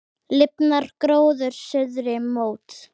Lifnar gróður suðri mót.